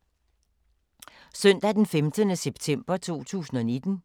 Søndag d. 15. september 2019